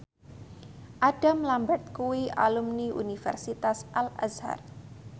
Adam Lambert kuwi alumni Universitas Al Azhar